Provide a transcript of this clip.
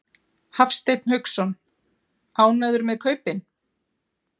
Hafsteinn Hauksson: Ánægður með kaupin?